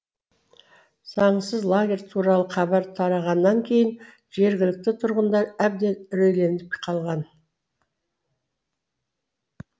заңсыз лагерь туралы хабар тарағаннан кейін жергілікті тұрғындар әбден үрейленіп қалған